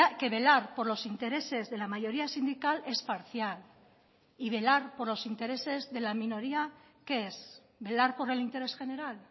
que velar por los intereses de la mayoría sindical es parcial y velar por los intereses de la minoría qué es velar por el interés general